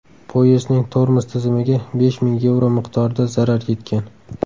Poyezdning tormoz tizimiga besh ming yevro miqdorida zarar yetgan.